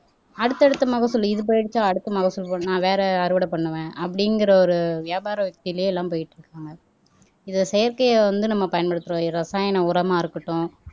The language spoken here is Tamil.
அடுத்தடுத்த மகசூல் இது போயிடுச்சு அடுத்த மகசூல் நான் வேற அறுவடை பண்ணுவேன் அப்படிங்கிற ஒரு வியாபார உத்தியிலே எல்லாம் போயிட்டு இருக்காங்க இந்த செயற்கையை வந்து நம்ம பயன்படுத்துறோம் இது ரசாயன உரமா இருக்கட்டும்